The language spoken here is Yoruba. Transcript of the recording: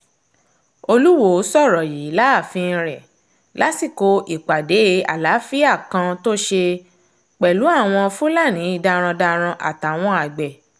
olùwọ́ọ́ sọ̀rọ̀ yìí láàfin rẹ̀ lásìkò ìpàdé àlàáfíà kan tó ṣe pẹ̀lú àwọn fúlàní darandaran àtàwọn àgbẹ̀